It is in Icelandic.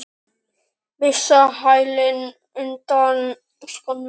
Missa hælinn undan skónum.